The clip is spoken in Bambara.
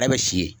Yɛrɛ bɛ si ye